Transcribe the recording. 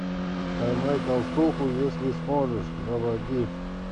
поймай толстуху если сможешь заводи